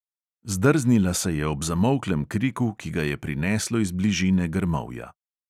Zdrznila se je ob zamolklem kriku, ki ga je prineslo iz bližine grmovja.